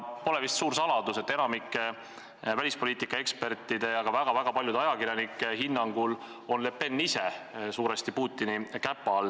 Pole vist suur saladus, et enamiku välispoliitikaekspertide ja ka väga-väga paljude ajakirjanike hinnangul on Le Pen ise suuresti Putini käpa all.